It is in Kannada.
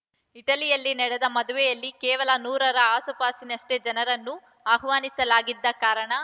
ಇಟಲಿಯಲ್ಲಿ ನಡೆದ ಮದುವೆಯಲ್ಲಿ ಕೇವಲ ನೂರರ ಆಸುಪಾಸಿನಷ್ಟೇ ಜನರನ್ನು ಆಹ್ವಾನಿಸಲಾಗಿದ್ದ ಕಾರಣ